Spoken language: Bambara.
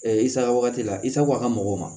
i saga wagati la i sago a ka mɔgɔw ma